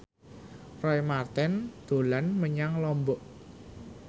Roy Marten dolan menyang Lombok